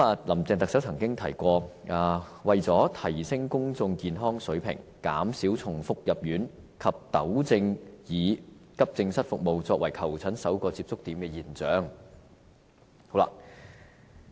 林鄭特首曾經提及，要提升公眾健康水平，減少重複入院及糾正以急症室服務作為求診首個接觸點的現象。